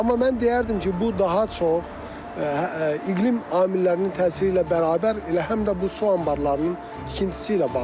Amma mən deyərdim ki, bu daha çox iqlim amillərinin təsiri ilə bərabər elə həm də bu su anbarlarının tikintisi ilə bağlıdır.